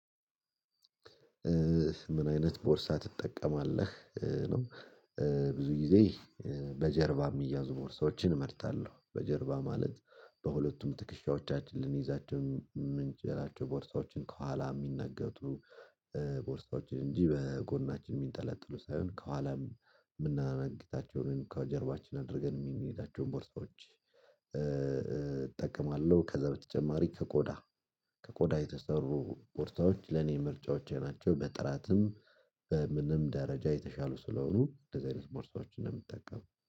ምን አይነት ቦርሳ ትጠቀማለህ ነው? ብዙ ጊዜ በጀርባ የሚያዙ ቦርሳዎችን እመርጣለሁ በጀርባ ማለት በሁለቱም ትክሻዎቻችን ልንይዛቸው ምንጭ የላቸው ቦርሳዎችን ከኋላ የሚነገጡ። ቦርሳዎችን እንጂ በጎናችን የሚንጠለጥሉ ሳይሆን ከኋላም የምናነግታቸውን ከጀርባችን አድርገን የሚንሄዳቸውን ቦርሳዎች እጠቀማለሁ። ከዛ በተጨማሪ ከቆዳ ከቆዳ የተሰሩ ቦርሳዎች ለኔ ምርጫዎች ናቸው። በጥራትም በምንም ደረጃ የተሻሉ ስለሆኑ እንደዚህ አይነት ቦርሳዎችን እንደምትጠቀሙ